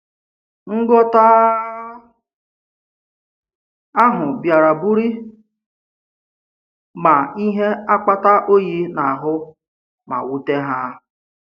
Nghọta ahụ bịaràbụ̀rị̀ ma ihe akpata òyì n’ahụ́ ma wùtè ha.